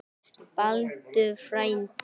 Baldur frændi.